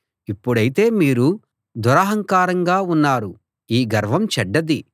ఇప్పుడైతే మీరు దురహంకారంగా ఉన్నారు ఈ గర్వం చెడ్డది